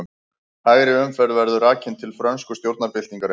Hægri umferð verður rakin til frönsku stjórnarbyltingarinnar.